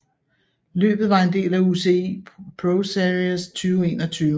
Løbet var en del af UCI ProSeries 2021